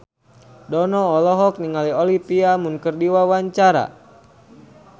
Dono olohok ningali Olivia Munn keur diwawancara